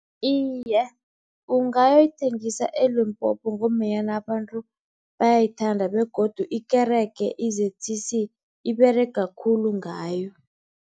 Iye, ungayoyithengisa eLimpopo ngombanyana abantu bayayithanda begodu ikerege i-Z_C_C iberega khulu ngayo.